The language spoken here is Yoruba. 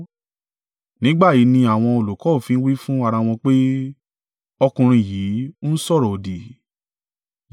Nígbà yìí ni àwọn olùkọ́ òfin wí fún ara wọn pé, “Ọkùnrin yìí ń sọ̀rọ̀-òdì!”